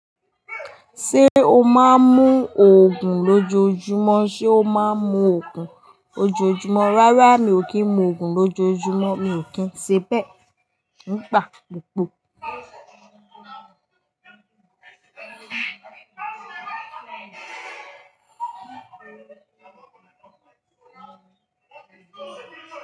Ṣé o máa ń mu ògùn lójoojúmọ́? Ṣé o máa ń mu ògùn lójoojúmọ́? Rárá, mi ò kí ń mu ògùn lójoojúmọ́, mi ò kí ń ṣe bẹ́ẹ̀. Mo ń pa pọ̀po.